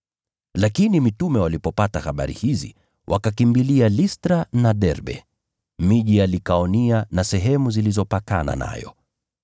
Lakini mitume walipopata habari hizi wakakimbilia Listra na Derbe, miji ya Likaonia na sehemu zilizopakana nayo.